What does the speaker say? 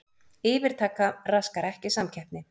Yfirtaka raskar ekki samkeppni